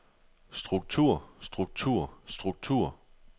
struktur struktur struktur